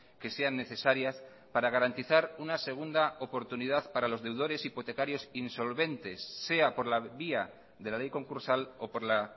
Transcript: que sean necesarias para garantizar una segunda oportunidad para los deudores hipotecarios insolventes sea por la vía de la ley concursal o por la